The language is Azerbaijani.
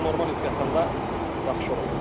Amma normal yuxu yatanda yaxşı oluram.